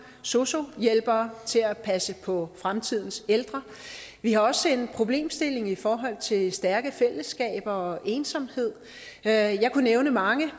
sosu hjælpere til at passe på fremtidens ældre vi har også en problemstilling i forhold til stærke fællesskaber og ensomhed og jeg kunne nævne mange